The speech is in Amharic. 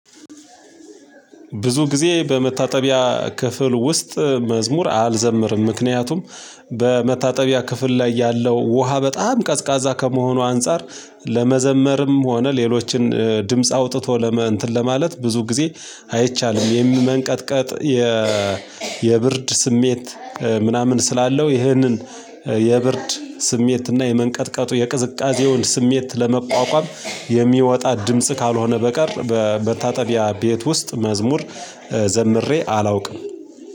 ብዙ ጊዜ በመታጠቢያ ክፍል ውስጥ መዝሙር አልዘምርም። ምክንያቱም ክፍል ላይ ያለው ውሃ በጣም ቀዝቃዛ ከመሆኑ አንፃር ለመዘመርም ሆነ ሌሎችን ድምጽ አውጥቶ ለመ እንትን ለማለት ብዙ ጊዜ አይቻልም የሚመንቀጥቀጥ የ የብርድ ስሜት ምናምን ስላለው ይህንን የብርድ ስሜት እና የመንቀጥቀጡ የቅዝቃዜውን ስሜት ለመቋቋም የሚወጣ ድምጽ ካልሆነ በቀር በመታጠቢያ ቤት ውስጥ መዝሙር ዘምሬ አላውቅም።